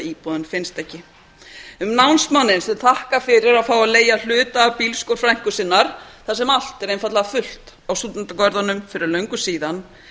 íbúðin finnst ekki um námsmanninn sem þakkar fyrir að fá að leigja hluta af bílskúr frænku sinnar þar sem allt er einfaldlega fullt á stúdentagörðunum fyrir löngu síðan